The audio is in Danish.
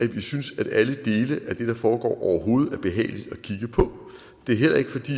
vi synes at alle dele af det der foregår overhovedet er behagelige at kigge på det er heller ikke fordi